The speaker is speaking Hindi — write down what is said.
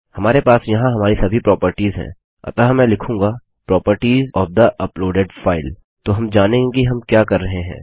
हमारे पास यहाँ हमारी सभी प्रोपर्टिज हैं अतः मैं लिखूँगा properties of the uploaded file तो हम जानेंगे कि हम क्या कर रहे हैं